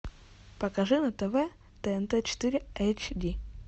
покажи на тв тнт четыре эйч ди